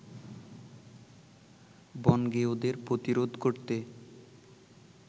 বনগেঁয়োদের প্রতিরোধ করতে